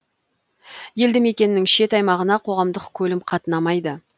елді мекеннің шет аймағына қоғамдық көлім қатынамайды